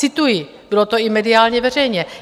Cituji, bylo to i mediálně veřejně.